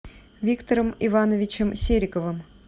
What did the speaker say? виктором ивановичем сериковым